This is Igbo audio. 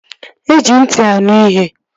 E ji ntị anụ ihe